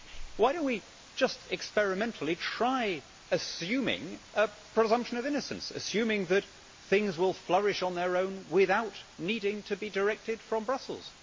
Why do we not just experimentally try assuming a presumption of innocence, assuming that things will flourish on their own without needing to be directed from Brussels?